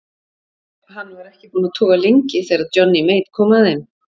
Hann var ekki búinn að toga lengi þegar Johnny Mate kom að þeim.